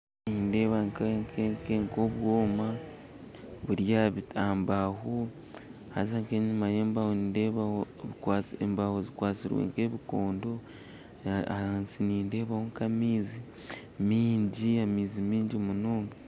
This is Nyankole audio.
Nindeeba nk'obwoma buri aha mbaaho haza nk'enyima y'embaaho nindeebaho embaaho zikwatsirwe nk'ebikondo ahansi nindeebaho nk'amaizi maingi amaizi maingi munonga